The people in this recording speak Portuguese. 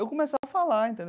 Eu começava a falar,